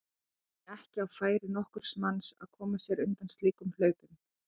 Það er því ekki á færi nokkurs manns að koma sér undan slíkum hlaupum.